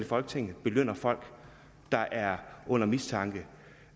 folketinget belønner folk der er under mistanke